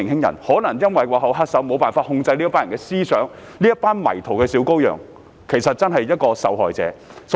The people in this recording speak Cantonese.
背後的原因正是幕後黑手能夠控制這些人的思想，但其實這些迷途的小羔羊才是受害者。